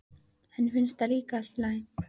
Henni finnst það líka allt í lagi.